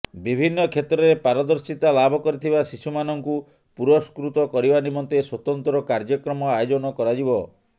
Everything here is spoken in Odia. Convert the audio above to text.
ବିଭିନ୍ନ କ୍ଷେତ୍ରରେ ପାରଦର୍ଶିତା ଲାଭ କରିଥିବା ଶିଶୁ ମାନଙ୍କୁ ପୁରସ୍କୃତ କରିବା ନିମନ୍ତେ ସ୍ୱତନ୍ତ୍ର କାର୍ଯ୍ୟକ୍ରମ ଆୟୋଜନ କରାଯିବ